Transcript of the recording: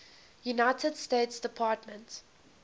united states department